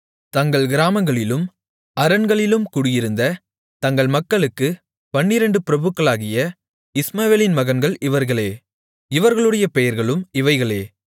தங்கள் கிராமங்களிலும் அரண்களிலும் குடியிருந்த தங்கள் மக்களுக்குப் பன்னிரண்டு பிரபுக்களாகிய இஸ்மவேலின் மகன்கள் இவர்களே இவர்களுடைய பெயர்களும் இவைகளே